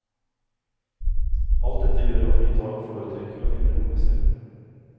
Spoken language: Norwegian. Alt dette gjør at vi i dag foretrekker å finne rommet selv.